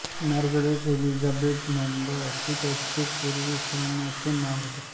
Margaret Elizabeth Noble असे त्यांचे पूर्वाश्रमीचे नाव होते